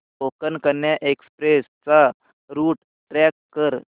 Konkan Kanya express चा route track कर